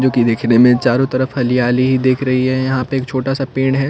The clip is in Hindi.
जोकि देखने में चारों तरफ हलयाली दिख रही है यहाँ पे एक छोटा सा पेंन है।